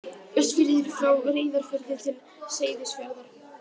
Austfirðir frá Reyðarfirði til Seyðisfjarðar.